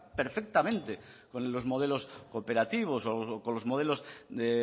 perfectamente con los modelos cooperativos o con los modelos de